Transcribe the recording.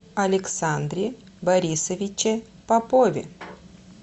александре борисовиче попове